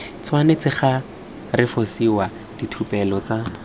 tshwanetse ga refosiwa diphuthelo tsa